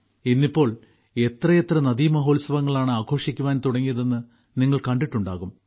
ഇന്നിപ്പോൾ എത്രയെത്ര നദീമഹോത്സവങ്ങൾ ആണ് ആഘോഷിക്കാൻ തുടങ്ങിയതെന്ന് നിങ്ങൾ കണ്ടിട്ടുണ്ടാകും